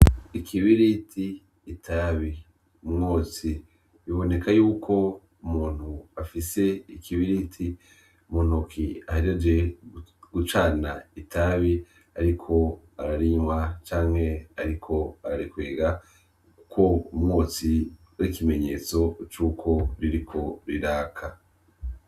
Ikibiriti, itabi, umwotsi biboneka yuko umuntu afise ikibiriti muntoke ahejeje gucana itabi ariko ararinywa canke ariko ararikwega kuko ar'ikimenyetso cuko ririko riraka.